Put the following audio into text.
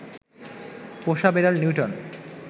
পোষা বেড়াল নিউটন